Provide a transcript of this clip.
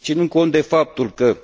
Ținând cont de faptul că